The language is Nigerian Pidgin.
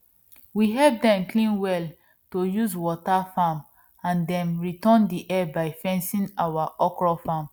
we help dem clean well to use water farm and dem return the help by fencing our okro farm